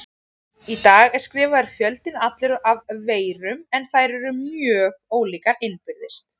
Í dag er skrifaður fjöldinn allur af veirum en þær eru mjög ólíkar innbyrðis.